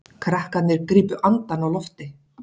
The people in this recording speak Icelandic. Krakkarnir gripu andann á lofti.